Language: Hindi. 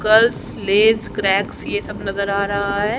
कर्ल्स लेस क्रैक्स ये सब नजर आ रहा है।